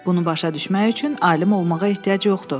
Bunu başa düşmək üçün alim olmağa ehtiyac yoxdur.